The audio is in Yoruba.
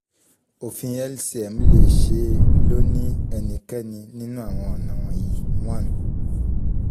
ofin lcm le ṣee lo ni ẹnikẹni ninu awọn ọna wọnyi one